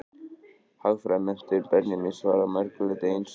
Hagfræðimenntun Benjamíns var að mörgu leyti einstök.